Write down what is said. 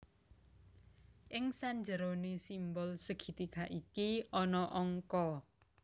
Ing sanjeroné simbol segitiga iki ana angka